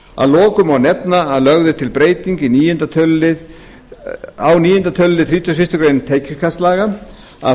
að lokum má nefna að lögð er til breyting á níunda tölulið þrítugasta og fyrstu grein tekjuskattslaga um